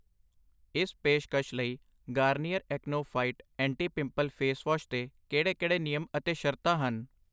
ਇਸ ਪੇਸ਼ਕਸ਼ ਲਈ Garnier Acno fight anti pimple face wash 'ਤੇ ਕਿਹੜੇ ਨਿਯਮ ਅਤੇ ਸ਼ਰਤਾਂ ਹਨ?